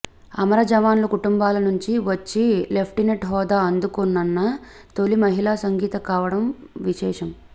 అమర జవాన్ల కుటుంబాల నుంచి వచ్చి లెఫ్టినెంట్ హోదా అందుకోనున్న తొలి మహిళ సంగీత కావడం విశేషం